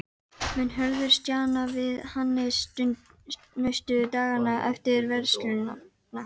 Mun Hörður stjana við Hannes næstu dagana eftir vörsluna?